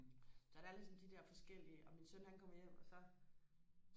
så der ligesom de der forskellige og min søn han kom hjem og så